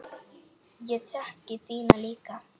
Ég þekki þína líka.